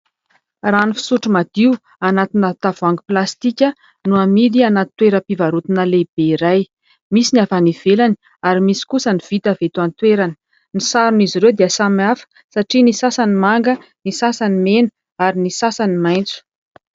Rano fisotro madio anatina tavoahangy plastika no amidy anaty toeram-pivarotana lehibe iray ; misy ny avy any ivelany ary misy kosa ny vita avy eto an-toerany. Ny saron' izy ireo dia samihafa satria ny sasany manga ny sasany mena ary ny sasany maitso.